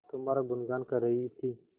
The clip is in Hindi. तुम्हारा गुनगान कर रही थी